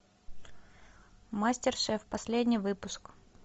мастер шеф последний выпуск